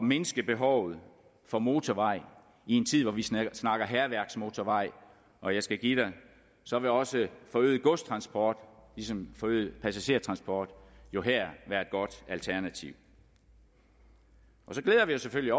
mindske behovet for motorvej i en tid hvor vi snakker snakker hærværksmotorvej og jeg skal give dig så vil også forøget godstransport ligesom forøget passagertransport jo her være et godt alternativ så glæder vi os selvfølgelig